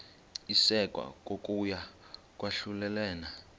isekwa kokuya kwahlulelana